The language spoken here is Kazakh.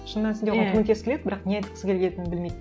шын мәнісінде оған көмектескісі келеді бірақ не айтқысы келетінін білмейді